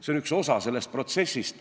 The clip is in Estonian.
See on üks osa sellest protsessist.